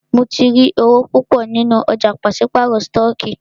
Mó tí rí owó púpọ nínú ọ̀jà pàṣípàrọ̀ stọọkí.